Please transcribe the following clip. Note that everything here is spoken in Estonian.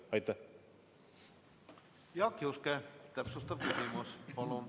Jaak Juske, täpsustav küsimus palun!